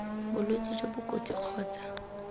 bolwetse jo bo kotsi kgotsa